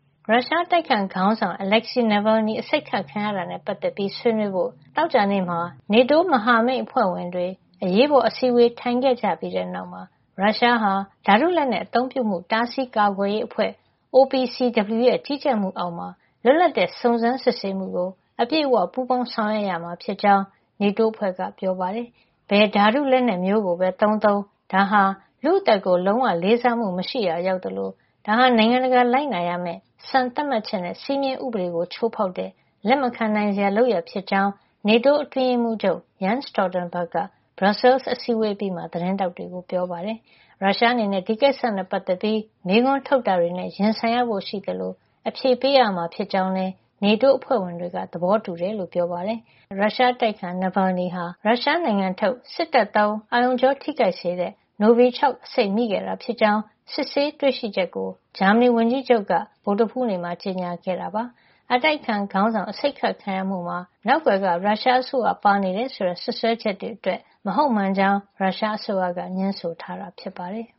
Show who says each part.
Speaker 1: ရုရှားအတိုက်အခံ ခေါင်းဆောင် Alexei Navalny အဆိပ်ခတ်ခံရတာနဲ့ ပတ်သက်ပြီး ဆွေးနွေးဖို့ သောကြာနေ့မှာ NATO မဟာမိတ်အဖွဲ့ဝင်တွေ အရေးပေါ်အစည်းဝေး ထိုင်ခဲ့ကြပြီးတဲ့ နောက်မှာ ရုရှားဟာ ဓါတုလက်နက် အသုံးပြုမှု တားဆီးကာကွယ်ရေးအဖွဲ့ OPCW ရဲ့ ကြီးကြပ်မှု အောက်မှာ လွှတ်လပ်တဲ့ စုံစမ်းစစ်ဆေးမှုကို အပြည့်အဝ. ပူးပေါင်းဆောင်ရွက် ရမှာ ဖြစ်ကြောင်း NATO အဖွဲ့က ပြောပါတယ်။ ဘယ်ဓါတု လက်နက်မျိုးကိုပဲ သုံးသုံး ဒါဟာ လူ့အသက်ကို လုံးဝလေးစားမှု မရှိရာ ရောက်သလို ဒါဟာ နိုင်ငံတကာ လိုက်နာရမယ့် စံသတ်မှတ်ချက်နဲ့ စည်းမျဉ်းဥပဒေကို ချိုးဖေါက်တဲ့ လက်မခံနိုင်စရာ လုပ်ရပ်ဖြစ်ကြောင်း NATO အတွင်းရေးမှုးချုပ် Jens Stoltenberg က Brussels က အစည်းအဝေး အပြီးမှာ သတင်းထောက်တွေကို ပြောပါတယ်။ ရုရှားအနေနဲ့ ဒီကိစ္စနဲ့ပတ်သက်ပြီး မေခွန်းထုတ်တာတွေနဲ့ ရင်ဆိုင်ရဖို့ရှိသလို အဖြေပေးရမှာ ဖြစ်ကြောင်း NATO အဖွဲ့ဝင်တွေက သဘောတူကြတယ်လို့လည်း ပြောပါတယ်။ ဂျာမဏီဆေးရုံမှာ အကုသခံနေရတဲ့ ရုရှားအတိုက်အခံ Navalny ဟာ အသုံးမပြုဖို့ တားမြစ်ထားတဲ့ ရုရှားထုတ် စစ်တပ်သုံး အာရုံကြောထိခိုက်စေတဲ့ Novichok အဆိပ် မိခဲ့တာ ဖြစ်ကြောင်း စစ်ဆေးတွေ့ရှိချက်ကို ဂျာမဏီ ဝန်ကြီးချုပ် Angela Merkel က ဗုဒ္ဓဟူးနေ့က ကြေညာခဲ့တာပါ။ အတိုက်အခံ ခေါင်းဆောင် Navalny အဆိပ်ခတ်ခံရမှုမှာ နောက်ကွယ်က ရုရှးအစိုးရ ပါနေတယ် ဆိုတဲ့ စွပ်စွဲချက်တွေအတွက် မဟုတ်မှန်ကြောင်း ရုရှားအစိုးရက ငြင်းဆိုထား
Speaker 2: တာ ဖြစ်ပါတယ်။